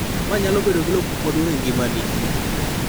ma nyalo bedo gi lokruok maduong' e ngimani